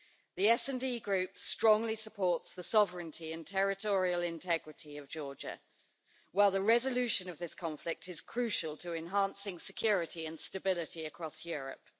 The SD Group strongly supports the sovereignty and territorial integrity of Georgia, while the resolution of this conflict is crucial to enhancing security and stability across Europe.